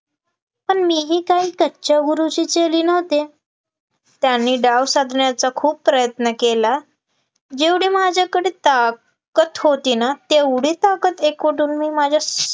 पण मीही काही कच्च्या गुरूची चेली नव्हते. त्यांनी डाव साधण्याचा खूप प्रयत्न केला जेवढी माझ्याकडे टाकत होती ना तेवढी ताकद एकवटून मी माझ्या